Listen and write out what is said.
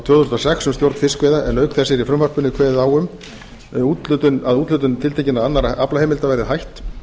tvö þúsund og sex um stjórn fiskveiða en auk þess er í fruvmasrpinu kveðið á um að úthlutun tiltekinna annarra aflaheimilda verði hætt